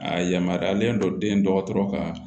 A yamaruyalen don den dɔgɔtɔrɔ ka